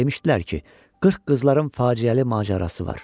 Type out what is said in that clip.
Demişdilər ki, 40 qızların faciəli macərası var.